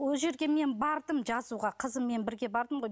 ол жерге мен бардым жазуға қызыммен бірге бардым ғой